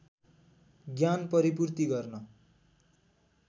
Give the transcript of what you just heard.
ज्ञान परिपूर्ति गर्न